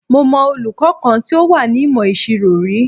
Mo mọ olùkọ́ kan tí ó wà ní ìmọ̀ ìṣirò rí.